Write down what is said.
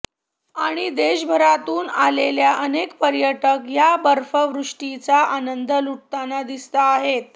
आणि देशभरातून आलेले अनेक पर्यटक या बर्फवृष्टीचा आनंद लुटताना दिसताहेत